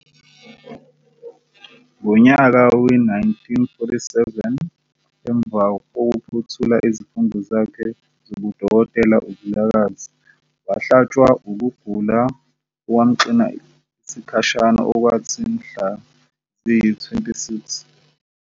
Ngonyaka we-1947 emva kokuphothula izifundo zakhe zobuDokotela uVilakazi wahlatshwa wukugula okwamxina isikhashana okwathi mhla ziyi-26